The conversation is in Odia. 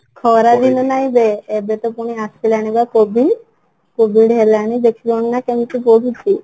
ଖରା ଦିନ ନାହିଁ ବେ ଏବେ ତ ପୁଣି ଆସିଲାଣି ପା COVID COVID ହେଲାଣି ଦେଖିଲଣି ନା କେମିତି ବଢୁଛି